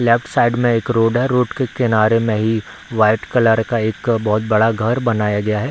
Left side में एक road है रोड के किनारे में ही वाइट कलर का एक अ बहोत बड़ा घर बनाया गया है।